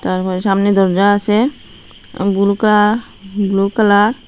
তারপরে সামনে দরজা আসে বুলু কালা ব্লু কালার ।